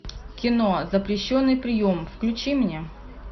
кино запрещенный прием включи мне